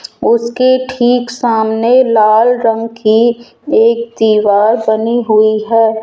उसकी ठीक सामने लाल रंग की एक दीवाल बनी हुई है।